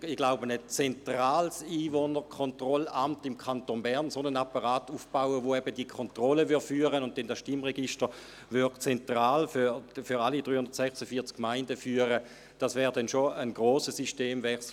Ein zentrales Einwohnerkontrollamt, einen solchen Apparat aufzubauen, der diese Kontrolle durchführen und das Stimmregister zentral für alle 346 Gemeinden führen würde, wäre schon ein grosser Systemwechsel.